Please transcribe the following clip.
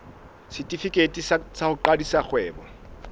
setefikeiti sa ho qadisa kgwebo